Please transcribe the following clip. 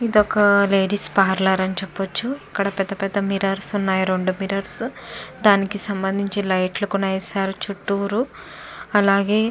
ఇదొక ladies parlour అని చెప్పచ్చు. ఇక్కడ రెండు మిర్రర్స్ ఉన్నాయి పెద్ద మిర్రర్స్ దానికి సంభందించి లైట్ లు కూడా వేశారు చుట్టూరు అలాగే --